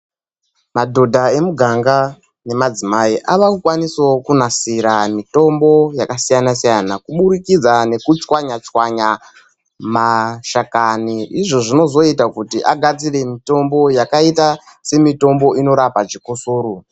Madhoda emuganga nemadzimai akukwanisawo kunasira mitombo yakasiyana siyana kuburikidza nekutswanya tswanya mashakani izvo zvinozoita kuti vagadzire mitombo yakaita semitombo inorapa chikosoro .